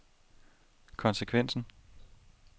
konsekvensen